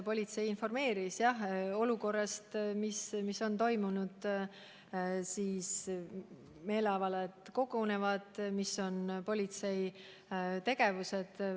Politsei informeeris mind olukorrast: sellest, mis on toimunud, sellest, et meeleavaldajad kogunevad, ja sellest, milline on politsei tegevus.